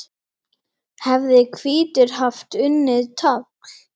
hefði hvítur haft unnið tafl.